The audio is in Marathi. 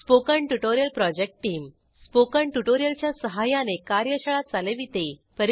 spoken tutorial project team spoken tutorial च्या सहाय्याने कार्यशाळा चालविते